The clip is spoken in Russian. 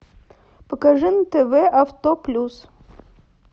покажи на тв авто плюс